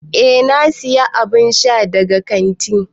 Eh na siya abun sha dayawa daga kantin.